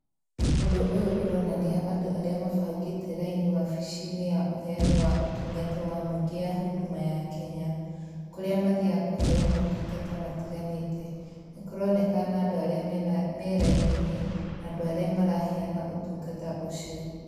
Ũndũ ũyũ ũronania andũ arĩa mabangĩte raini wabici-inĩ ya ũheani wa ũtungata wa mũingĩ ya Huduma ya Kenya, kũrĩa mathiaga kũheo motungata matiganĩte. Nĩ korekana andũ arĩa mena me raini-inĩ na andũ arĩa maraheana ũtungata ũcio.